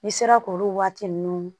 N'i sera k'olu waati ninnu